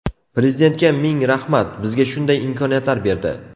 Prezidentga ming rahmat, bizga shunday imkoniyatlar berdi.